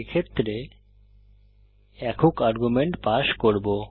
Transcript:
এক্ষেত্রে একক argument pass করব